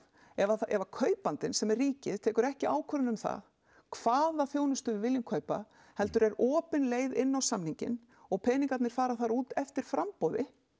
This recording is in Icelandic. ef að kaupandinn sem er ríkið tekur ekki ákvörðun um það hvaða þjónustu við viljum kaupa heldur er opin leið inn á samningin og peningarnir fara þar út eftir framboði